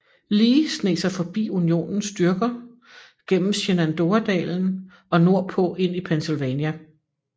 Lee sneg sig forbi Unionens styrker gennem Shenandoah dalen og nordpå ind i Pennsylvania